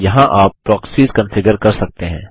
यहाँ आप proxies configure कर सकते हैं